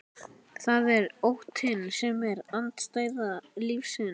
Það er óttinn sem er andstæða lífsins.